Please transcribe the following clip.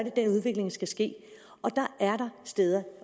er den udvikling skal ske